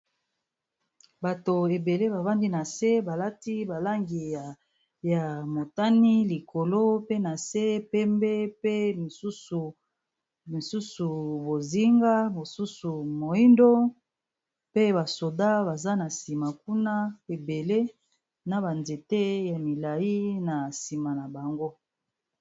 Bato ebele babandi na se balati balangi ya motani, likolo pe na se pembe pe msus misusu bozinga, mosusu moindo, pe basoda baza na nsima kuna ebele na banzete ya milai na nsima na bango.